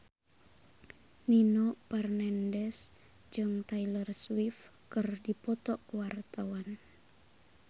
Nino Fernandez jeung Taylor Swift keur dipoto ku wartawan